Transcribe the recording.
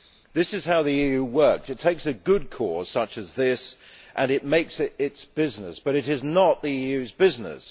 This is how the EU works it takes a good cause such as this and it makes it its business, but it is not the EU's business.